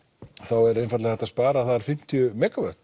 er einfaldlega hægt að spara þar fimmtíu